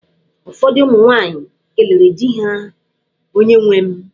Ụfọdụ ụmụ nwaanyị kelere di ha, "onye nwem".